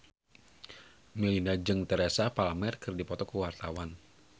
Melinda jeung Teresa Palmer keur dipoto ku wartawan